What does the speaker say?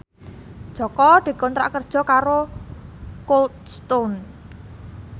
Jaka dikontrak kerja karo Cold Stone